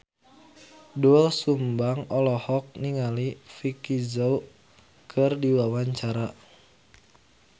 Doel Sumbang olohok ningali Vicki Zao keur diwawancara